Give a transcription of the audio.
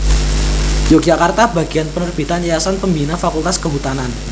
Yogyakarta Bagian Penerbitan Yayasan Pembina Fakultas Kehutanan